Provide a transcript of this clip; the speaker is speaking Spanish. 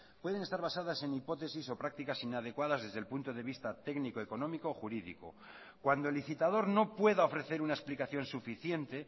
pueden estar basadas en hipótesis o prácticas inadecuadas desde el punto de vista técnico económico o jurídico cuando el licitador no pueda ofrecer una explicación suficiente